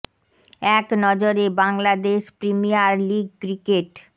এ ক ন জ রে বাংলাদেশ প্রিমিয়ার লিগ ক্রিকেট